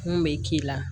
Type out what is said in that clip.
Mun bɛ k'i la